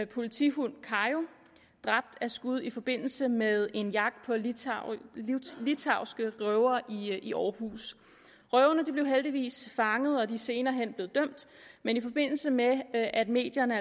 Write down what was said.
politihund kayo dræbt af skud i forbindelse med en jagt på litauiske røvere i aarhus røverne blev heldigvis fanget og de er senere hen blevet dømt men i forbindelse med at medierne